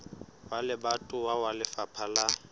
wa lebatowa wa lefapha la